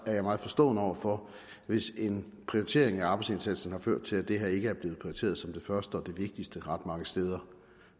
jeg meget forstående over for hvis en prioritering af arbejdsindsatsen har ført til at det her ikke er blevet prioriteret som det første og det vigtigste ret mange steder